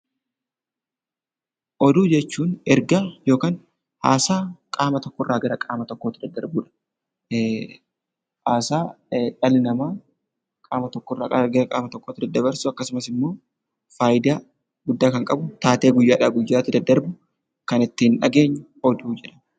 Oduu jechuun ergaa yookaan haasaa qaama tokko irraa gara qaama tokkootti daddarbudha. Haasaa dhalli namaa qaama tokko irraa gara qaama tokkootti daddabarsu akkasumas immoo faayidaa guddaa kan qabu taatee guyyaadhaa guyyaatti daddarbu kan ittiin dhageenyu oduu jenna.